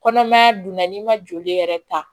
Kɔnɔmaya dun na n'i ma joli yɛrɛ ta